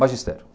Magistério.